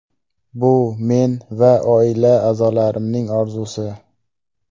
Bu men va oila a’zolarimning orzusi.